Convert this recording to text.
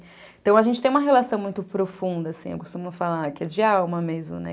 Então, a gente tem uma relação muito profunda, assim, eu costumo falar que é de alma mesmo, né?